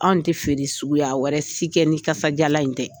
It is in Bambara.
Anw tɛ feere suguya wɛrɛ si kɛ ni kasadiyalan in tɛ